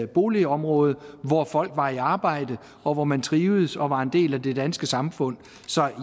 boligområde hvor folk var i arbejde og hvor man trivedes og var en del af det danske samfund så